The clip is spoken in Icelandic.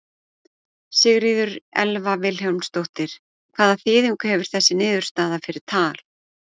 Sigríður Elva Vilhjálmsdóttir: Hvaða þýðingu hefur þessi niðurstaða fyrir Tal?